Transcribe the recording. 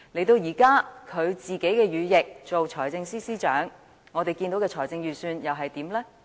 到了現在，他的羽翼成為財政司司長，我們看到的預算案又如何？